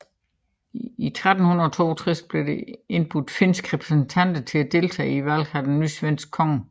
I 1362 blev der indbudt finske repræsentanter til at deltage i valget af en ny svensk konge